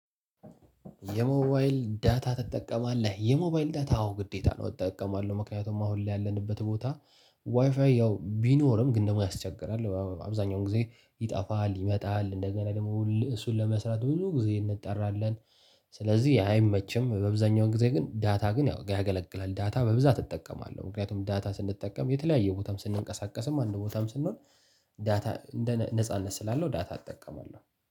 የሞባይል ዳታ ትጠቀማለህ? የሞባይል ዳታ አዎ ግዴታ ነው እጠቀማለሁ ምክንያቱም አሁን ላይ ያለንበት ቦታ ዋይፋይ ያው ቢኖርም ግን ደግሞ ያስቸግራል አብዛኛውን ጊዜ ይጠፋል ይመጣል እንደገና ደግሞ እሱን ለመስራት ብዙ ጊዜ እንጠራለን። ስለዚህ አይመችም በብዛኛው ጊዜ ግን ዳታ ግን ያው ያገለግላል ዳታ በብዛት እጠቀማለሁ ምክንያቱም ዳታ ስንጠቀም የተለያየ ቦታም ስንቀሳቀስም አንድ ቦታም ስንሆን ዳታ እንደ እኔ ነጻነት ስላለው ዳታ እጠቀማለሁ።